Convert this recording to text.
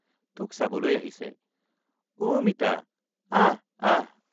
তোক চাবলৈ আহিছে—উ মিতা আহ আহ।